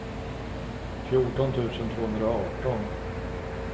fjorton tusen tvåhundraarton